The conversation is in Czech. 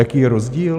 Jaký je rozdíl?